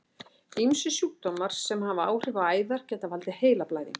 Ýmsir sjúkdómar sem hafa áhrif á æðar geta valdið heilablæðingu.